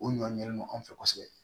O ɲɔn ɲɛnen don anw fɛ kosɛbɛ